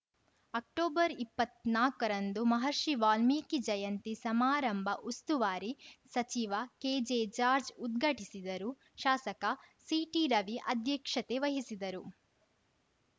ಅಕ್ಟೊಬರ್ಇಪ್ಪತ್ನಾಕರಂದು ಮಹರ್ಷಿ ವಾಲ್ಮೀಕಿ ಜಯಂತಿ ಸಮಾರಂಭ ಉಸ್ತುವಾರಿ ಸಚಿವ ಕೆಜೆಜಾರ್ಜ್ ಉದ್ಘಾಟಿಸಿದರು ಶಾಸಕ ಸಿಟಿರವಿ ಅಧ್ಯಕ್ಷತೆ ವಹಿಸಿದರು